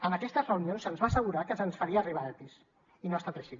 en aquestes reunions se’ns va assegurar que se’ns farien arribar epis i no ha estat així